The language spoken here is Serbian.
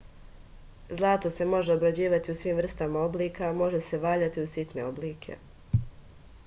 zlato se može obrađivati u svim vrstama oblika može se valjati u sitne oblike